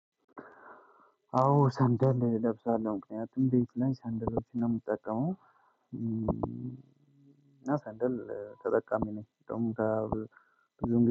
አዎ ሰንደል እለብሳለሁ ምክንያቱም ቤት ላይ ሰንደሎችን ነው የምጠቀመው። እና ሰንደል ተጠቃሚ ነኝ። ብዙ ጊዜ